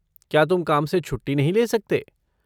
क्या तुम काम से छुट्टी नहीं ले सकते?